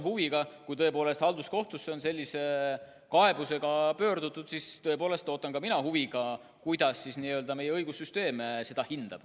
Ja kui tõepoolest halduskohtusse on sellise kaebusega pöördutud, siis ootan ka mina huviga, kuidas meie õigussüsteem seda hindab.